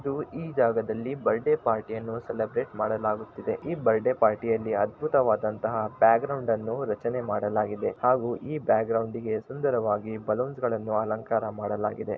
ಇದು ಈ ಜಾಗದಲ್ಲಿ ಬರ್ತಡೇ ಪಾರ್ಟಿಯನ್ನು ಸೆಲಬ್ರೇಟ್‌ ಮಾಡಲಾಗುತ್ತಿದೆ ಈ ಬರ್ತಡೇ ಪಾರ್ಟಿಯಲ್ಲಿ ಅದ್ಬುತವಾದಂತಹ ಬ್ಯಾಕ್‌ ಗ್ರೌಂಡ್ ನ್ನು ರಚನೆ ಮಾಡಲಾಗಿದೆ ಹಾಗೂ ಈ ಬ್ಯಾಕ್‌ ಗ್ರೌಂಡ್‌ಗೆ ಸುಂದರವಾಗಿ ಬಲೂನ್ಸ್ ಗಳನ್ನು ಅಲಂಕಾರ ಮಾಡಲಾಗಿದೆ.